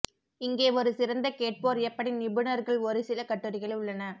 இங்கே ஒரு சிறந்த கேட்போர் எப்படி நிபுணர்கள் ஒரு சில கட்டுரைகள் உள்ளன